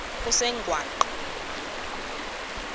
kusengwaqa